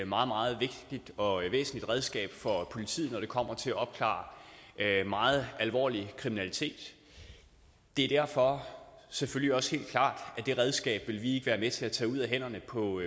meget meget vigtigt og væsentligt redskab for politiet når det kommer til at opklare meget alvorlig kriminalitet det er derfor selvfølgelig også helt klart at det redskab vil vi ikke være med til at tage ud af hænderne på